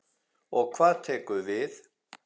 Og hvað tekur við?